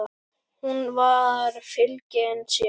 Hún var fylgin sér.